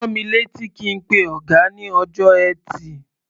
Rán mi létí kí n pe ọ̀gá ní ọjọ́ Ẹtì.